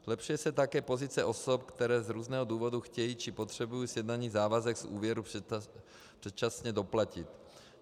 Zlepšuje se také pozice osob, které z různého důvodu chtějí či potřebují sjednaný závazek z úvěru předčasně doplatit.